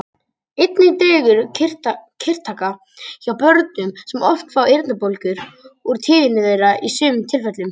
Einnig dregur kirtlataka hjá börnum sem oft fá eyrnabólgur úr tíðni þeirra í sumum tilfellum.